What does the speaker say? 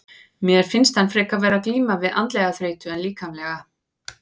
Mér finnst hann frekar vera að glíma við andlega þreytu en líkamlega.